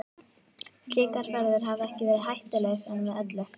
Slíkar ferðir hafa ekki verið hættulausar með öllu.